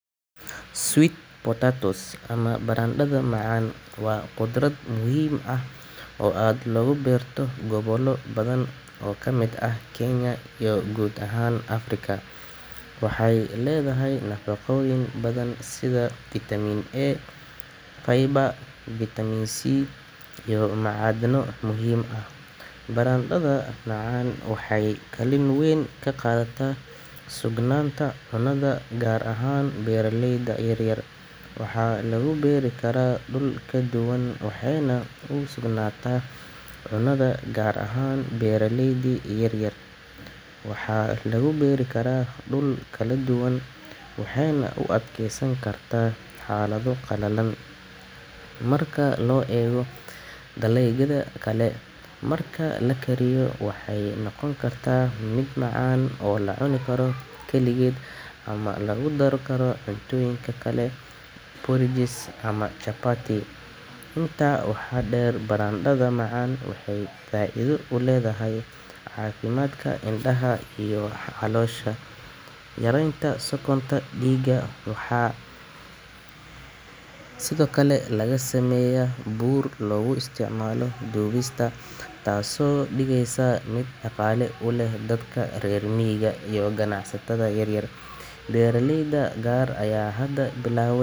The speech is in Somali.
Sweet potatos ama baradaadha macan qudraad muhiim ah oo aad logu beerto gobola badan kenya iyo gobola badan africa, waxee leyahan nafaqoyin badan sitha vitamin A , waxaa lagu beeri karaa dul kala duwan marka lakariyo waxee noqon kartaa miid, waxee faida uledhaya indaha, beera leyda qar aya hada bilawen.